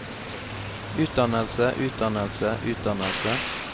utdannelse utdannelse utdannelse